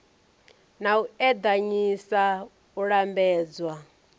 na u eḓanyisa u lambedzwa